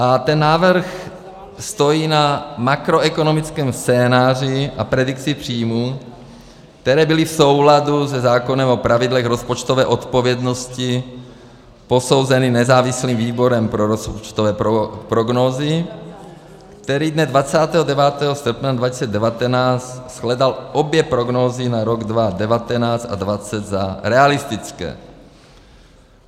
A ten návrh stojí na makroekonomickém scénáři a predikci příjmů, které byly v souladu se zákonem o pravidlech rozpočtové odpovědnosti, posouzený nezávislým výborem pro rozpočtové prognózy, který dne 29. srpna 2019 shledal obě prognózy na rok 2019 a 2020 za realistické.